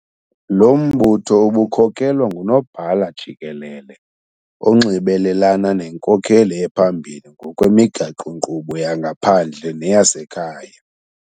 Lo mbutho ubukhokelwa nguNobhala Jikelele, onxibelelana nenkokeli ephambili ngokwemigaqo-nkqubo yangaphandle neyasekhaya.